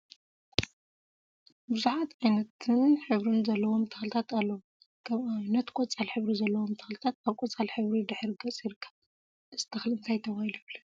ቡዘሓት ዓይነትን ሕብሪን ዘለዎም ተክሊታት አለው፡፡ ከም አብነት ቆፃል ሕብሪ ዘለዎም ተክሊታት አብ ቆፃል ሕብሪ ድሕረ ገፅ ይርከብ፡፡ እዚ ተክሊ እንታይ ተባሂሉ ይፍለጥ?